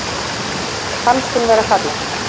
Fannst hún vera falleg